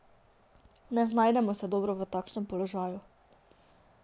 Ne znajdemo se dobro v takšnem položaju.